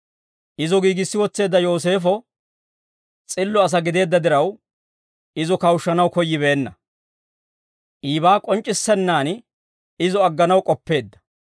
Izo giigissi wotseedda Yooseefo s'illo asaa gideedda diraw, izo kawushshanaw koyyibeenna; iibaa k'onc'c'issennaan izo agganaw k'oppeedda.